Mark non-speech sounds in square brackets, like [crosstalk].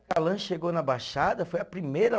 [unintelligible] chegou na Baixada, foi a primeira